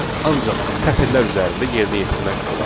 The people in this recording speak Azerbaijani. ancaq sətirlər üzərində yerinə yetirmək olar.